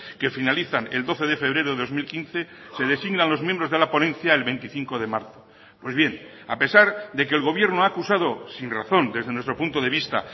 que finalizan el doce de febrero de dos mil quince se designan los miembros de la ponencia el veinticinco de marzo pues bien a pesar de que el gobierno ha acusado sin razón desde nuestro punto de vista